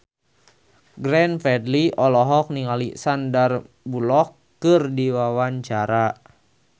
Glenn Fredly olohok ningali Sandar Bullock keur diwawancara